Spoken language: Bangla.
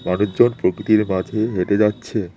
মানুষজন প্রকৃতির মাঝে হেঁটে যাচ্ছে।